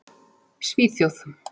Svíþjóð